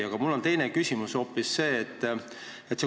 Aga minu teine küsimus on hoopis see.